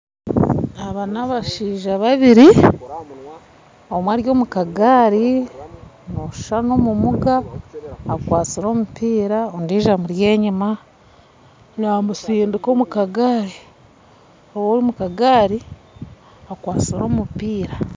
Aba n'abashaija babiri omwe ari omukagari nooshuusha n'omumuga akwasire omumpiira, ondiijo amuri enyima n'amutsindiika omukagari, ow'omukagari akwastire omumpiira